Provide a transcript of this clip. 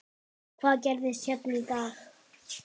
Hvað gerðist hérna í dag?